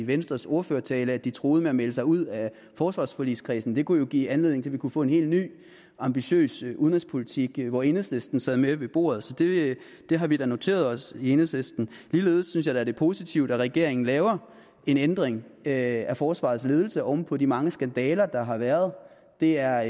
i venstres ordførertale at de truede med at melde sig ud af forsvarsforligskredsen det kunne jo give anledning til at vi kunne få en helt ny ambitiøs udenrigspolitik hvor enhedslisten sad med ved bordet så det har vi da noteret os i enhedslisten ligeledes synes jeg da det er positivt at regeringen laver en ændring af forsvarets ledelse oven på de mange skandaler der har været det er